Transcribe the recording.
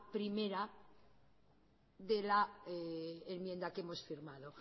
primera de la enmienda que hemos firmado